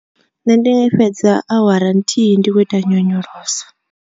Nṋe ndi fhedza awara nthihi ndi tshi khou ita nyonyoloso.